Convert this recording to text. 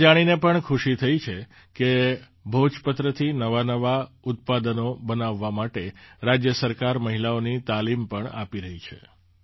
મને એ જાણીને પણ ખુશી થઈ કે ભોજપત્રથી નવાંનવાં ઉત્પાદનો બનાવવા માટે રાજ્ય સરકાર મહિલાઓની તાલીમ પણ આપી રહી છે